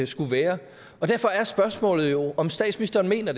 skulle være derfor er spørgsmålet jo om statsministeren mener